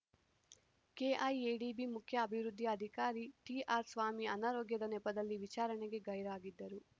KIADB ಮುಖ್ಯ ಅಭಿವೃದ್ಧಿ ಅಧಿಕಾರಿ ಟಿಆರ್‌ಸ್ವಾಮಿ ಅನಾರೋಗ್ಯದ ನೆಪದಲ್ಲಿ ವಿಚಾರಣೆಗೆ ಗೈರಾಗಿದ್ದರು